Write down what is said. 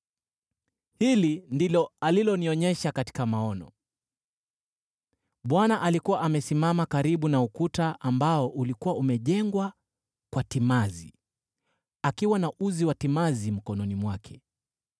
Hili ndilo alilonionyesha katika maono: Bwana alikuwa amesimama karibu na ukuta ambao ulikuwa umejengwa kwa timazi, akiwa na uzi wa timazi mkononi mwake.